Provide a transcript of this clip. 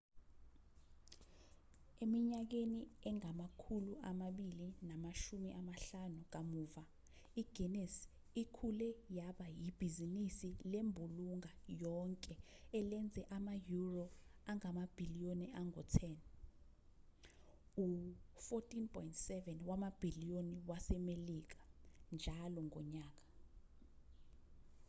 eminyakeni engama-250 kamuva i-guinness ikhule yaba ibhizinisi lembulunga yonke elenza ama-euro angamabhiliyoni angu-10 u-$14.7 wamabhiliyoni wasemelika njalo ngonyaka